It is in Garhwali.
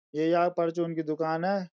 ये यहाँ परचून की दुकान है।